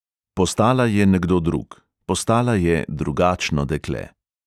Postala je nekdo drug, postala je drugačno dekle.